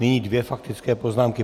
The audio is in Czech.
Nyní dvě faktické poznámky.